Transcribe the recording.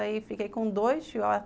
Aí, fiquei com dois chihuahuas.